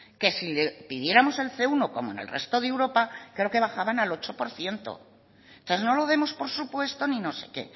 que si le pidiéramos el ce uno como en el resto de europa creo que bajaban al ocho por ciento entonces no lo demos por supuesto ni no sé qué